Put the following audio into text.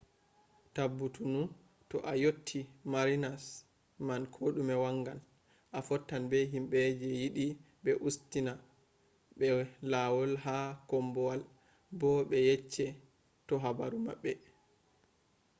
tabbutunu to a yotii marinas man kodume wangan. a fottan be himbe je yidi be ustina be lawol ha kombowal bo be yecce te habaru mabbe